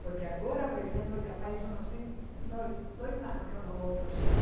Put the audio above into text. Porque agora, por exemplo, já faz hum não sei, dois dois anos que eu não vou para o Chile.